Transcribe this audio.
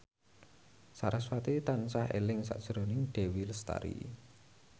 sarasvati tansah eling sakjroning Dewi Lestari